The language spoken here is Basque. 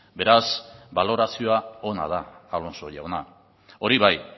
beraz balorazioa ona da alonso jauna hori bai